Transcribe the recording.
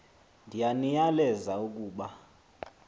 ndiya niyaleza ukuba